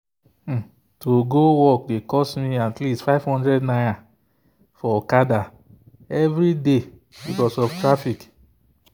to go work dey cost me at least ₦500 for okada every day because of traffic.